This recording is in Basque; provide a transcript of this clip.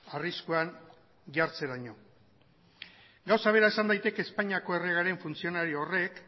arriskuan jartzeraino gauza bera esan daiteke espainiako erregearen funtzionario horrek